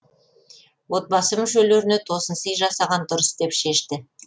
отбасы мүшелеріне тосынсый жасаған дұрыс деп шешті